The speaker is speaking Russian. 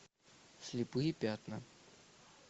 слепые пятна